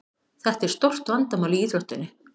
Þetta er stórt vandamál í íþróttinni.